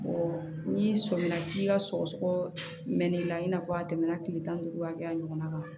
n'i sɔmina k'i ka sɔgɔsɔgɔ mɛn' i la i n'a fɔ a tɛmɛna tile tan ni duuru hakɛya ɲɔgɔnna kan